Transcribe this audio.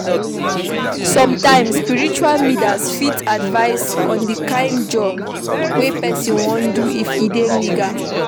Some times spiritual leaders fit advice on di kind of job wey person wan do if e dey legal